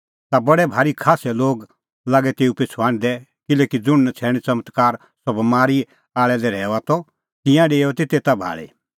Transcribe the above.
ता बडै भारी खास्सै लोग लागै तेऊ पिछ़ू हांढदै किल्हैकि ज़ुंण नछ़ैण च़मत्कार सह बमारी आल़ै लै रहैऊआ त तिंयां डेओआ तै तेता भाल़ै